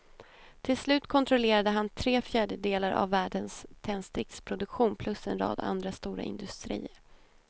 Till slut kontrollerade han tre fjärdedelar av världens tändsticksproduktion plus en rad andra stora industrier.